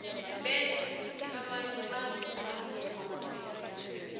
bese khuthi abanye badle umratha wamabele